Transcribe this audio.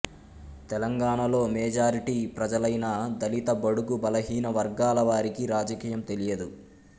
తెలంగాణాలో మెజారిటీ ప్రజలైన దళిత బడుగు బలహీన వర్గాల వారికి రాజకీయం తెలియదు